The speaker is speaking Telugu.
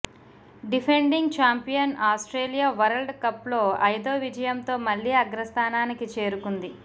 డిఫెండింగ్ చాంపియన్ ఆస్ట్రేలియా వరల్డ్ కప్లో ఐదో విజయంతో మళ్లీ అగ్రస్థానానికి చేరుకుంది